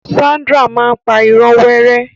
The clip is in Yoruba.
Sandra máa n pa ìró wẹ́rẹ́.